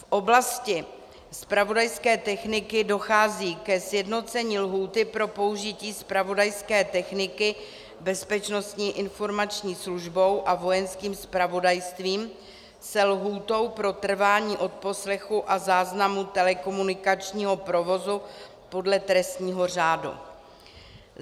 V oblasti zpravodajské techniky dochází ke sjednocení lhůty pro použití zpravodajské techniky Bezpečnostní informační službou a Vojenským zpravodajstvím se lhůtou pro trvání odposlechu a záznamu telekomunikačního provozu podle trestního řádu.